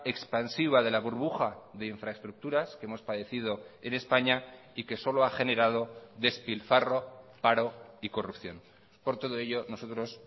expansiva de la burbuja de infraestructuras que hemos padecido en españa y que solo ha generado despilfarro paro y corrupción por todo ello nosotros